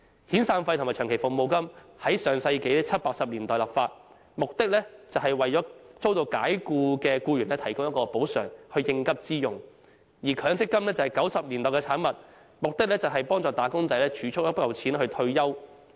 遣散費和長期服務金在上世紀七八十年代立法，目的是為遭解僱的僱員提供補償作應急之用，而強積金是1990年代的產物，目的是幫助"打工仔"儲蓄一筆錢退休。